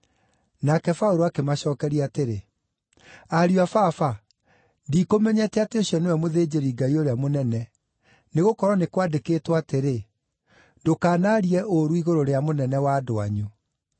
Nake Paũlũ akĩmacookeria atĩrĩ, “Ariũ a Baba, ndikũmenyete atĩ ũcio nĩwe mũthĩnjĩri-Ngai ũrĩa mũnene; nĩgũkorwo nĩ kwandĩkĩtwo atĩrĩ: ‘Ndũkanaarie ũũru igũrũ rĩa mũnene wa andũ anyu.’ ”